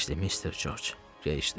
Geyişdi Mister Corc, geyişdi.